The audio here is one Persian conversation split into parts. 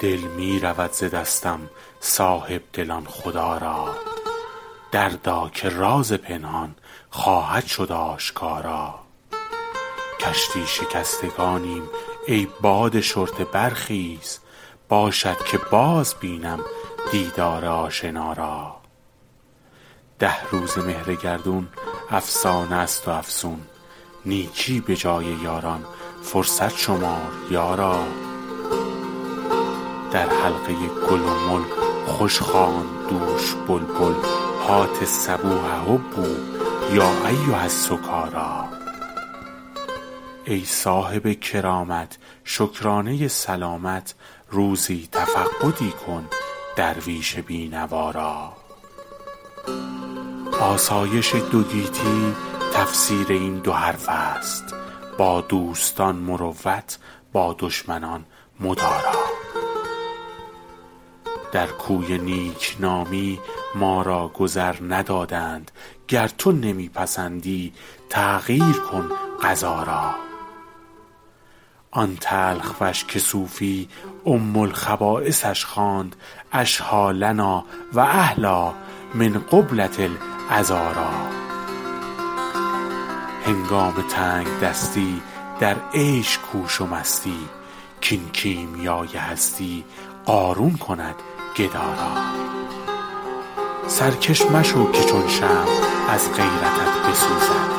دل می رود ز دستم صاحب دلان خدا را دردا که راز پنهان خواهد شد آشکارا کشتی شکستگانیم ای باد شرطه برخیز باشد که باز بینم دیدار آشنا را ده روزه مهر گردون افسانه است و افسون نیکی به جای یاران فرصت شمار یارا در حلقه گل و مل خوش خواند دوش بلبل هات الصبوح هبوا یا ایها السکارا ای صاحب کرامت شکرانه سلامت روزی تفقدی کن درویش بی نوا را آسایش دو گیتی تفسیر این دو حرف است با دوستان مروت با دشمنان مدارا در کوی نیک نامی ما را گذر ندادند گر تو نمی پسندی تغییر کن قضا را آن تلخ وش که صوفی ام الخبایثش خواند اشهیٰ لنا و احلیٰ من قبلة العذارا هنگام تنگ دستی در عیش کوش و مستی کاین کیمیای هستی قارون کند گدا را سرکش مشو که چون شمع از غیرتت بسوزد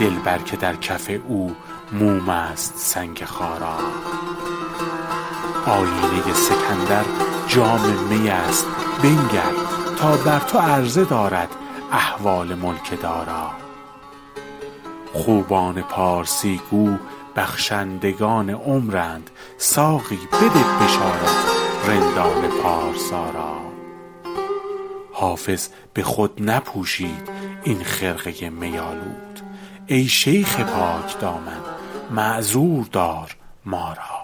دلبر که در کف او موم است سنگ خارا آیینه سکندر جام می است بنگر تا بر تو عرضه دارد احوال ملک دارا خوبان پارسی گو بخشندگان عمرند ساقی بده بشارت رندان پارسا را حافظ به خود نپوشید این خرقه می آلود ای شیخ پاک دامن معذور دار ما را